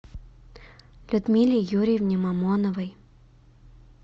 людмиле юрьевне мамоновой